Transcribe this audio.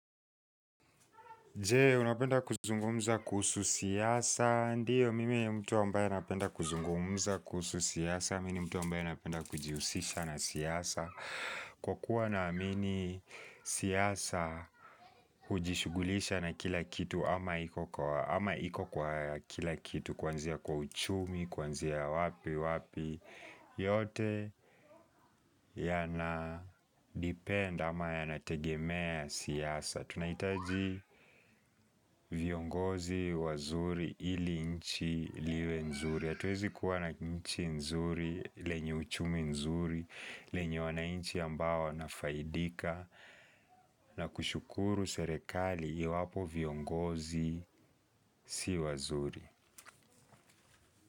Je, unapenda kuzungumza kuhusu siasa, ndio mimi ni mtu ambaye napenda kuzungumza kuhusu siasa, mimi ni mtu ambaye anapenda kujihusisha na siasa Kwa kuwa na amini siasa, hujishughulisha na kila kitu ama iko kwa kila kitu, kwanzia kwa uchumi, kwanzia wapi, wapi, yote yana depend ama yanategemea siasa Tunahitaji viongozi wazuri ili nchi liwe nzuri hatuwezi kuwa na nchi nzuri, lenye uchumi nzuri lenye wanainchi ambao wanafaidika na kushukuru serekali iwapo viongozi si wazuri.